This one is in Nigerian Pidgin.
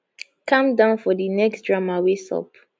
calm down for di next drama wey sup